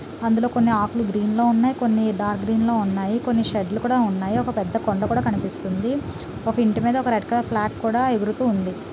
అందులో కొన్ని ఆకులు గ్రీన్ లో ఉన్నాయి. కొన్ని డార్క్ గ్రీన్ లో ఉన్నాయి. కొన్ని షెడ్ లు కూడా ఉన్నాయి. ఒక పెద్ద కొండ కూడా కనిపిస్తుంది. ఒక ఇంటి మీద ఓక రెడ్ కలర్ ఫ్లాగ్ కూడా ఎగురుతూ ఉంది.